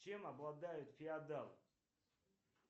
чем обладают феодалы